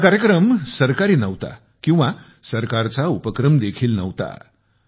हा कार्यक्रम सरकारी नव्हता किंवा सरकारचा उपक्रम देखील नव्हता